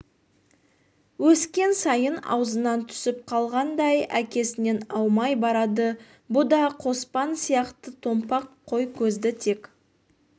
өскен сайын аузынан түсіп қалғандай әкесінен аумай барады бұ да қоспан сияқты томпақ қой көзді тек